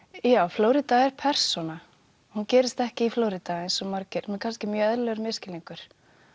Flórída er persóna hún gerist ekki í Flórída eins og margir sem er kannski eðlilegur misskilningur